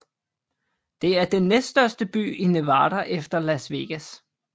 Det er den næststørste by i Nevada efter Las Vegas